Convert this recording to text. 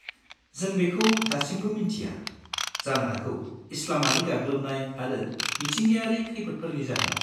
जों बेखौ दासिमबो मिन्थिया, जानो हागौ इस्लामारि गाग्लोबनाय आरो मिथिंगायारि खैफोदफोरनि जाहोनाव।